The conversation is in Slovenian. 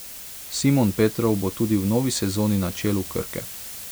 Simon Petrov bo tudi v novi sezoni na čelu Krke.